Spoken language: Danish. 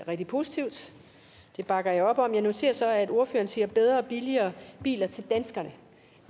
rigtig positivt det bakker jeg op om jeg noterede mig så at ordføreren sagde bedre og billigere biler til danskerne